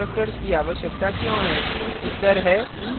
अब आप महसूस कर सकते हैं कि हमें constructors की आवश्यकता क्यों है